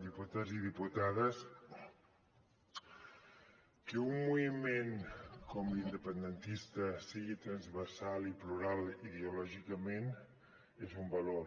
diputats i diputades que un moviment com l’independentista sigui transversal i plural ideològicament és un valor